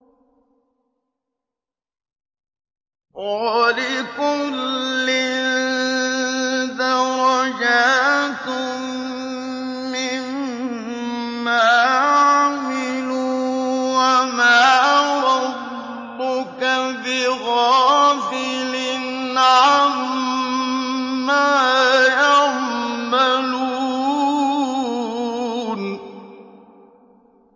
وَلِكُلٍّ دَرَجَاتٌ مِّمَّا عَمِلُوا ۚ وَمَا رَبُّكَ بِغَافِلٍ عَمَّا يَعْمَلُونَ